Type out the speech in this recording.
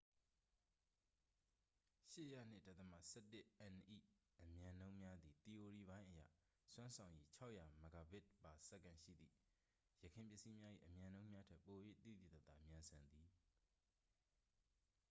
၈၀၂.၁၁n ၏ အမြန်နှုန်းများသည် သီအိုရီပိုင်းအရ စွမ်းဆောင်ရည် ၆၀၀mbit/s ရှိသည့် ယခင်ပစ္စည်းများ၏ အမြန်နှုန်းများထက် ပို၍ သိသိသာသာမြန်ဆန်သည်။